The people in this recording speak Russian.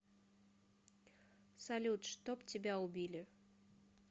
салют чтоб тебя убили